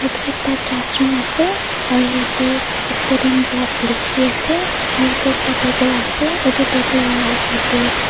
etu ekta class room ase aro yate student block likhi ase aro yate ekta table ase etu table la opor te--